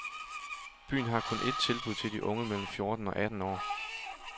Byen har kun et tilbud til de unge mellem fjorten og atten år.